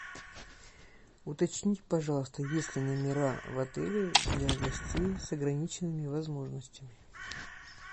уточните пожалуйста есть ли номера в отеле для гостей с ограниченными возможностями